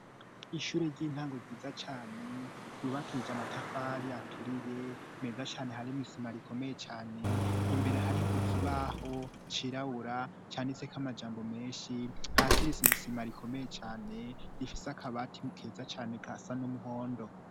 Ishure ry'intango ryiza cane yubakije matafari aturiye meza cane harimo isima rikomeye cane imbere hariho ikibaho cirawura cane itsek amajambo menshi hasi risizisima rikomeye cane rifise akabati keza cane kasa n'umuhondo.